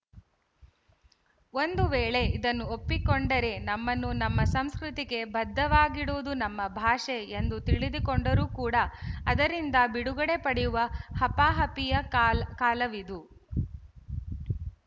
ಒಂದು ವೇಳೆ ಇದನ್ನು ಒಪ್ಪಿಕೊಂಡರೆ ನಮ್ಮನ್ನು ನಮ್ಮ ಸಂಸ್ಕೃತಿಗೆ ಬದ್ಧವಾಗಿಡುವುದು ನಮ್ಮ ಭಾಷೆ ಎಂದು ತಿಳಿದುಕೊಂಡರೂ ಕೂಡ ಅದರಿಂದ ಬಿಡುಗಡೆ ಪಡೆಯುವ ಹಪಾಹಪಿಯ ಕಾಲ ಕಾಲವಿದು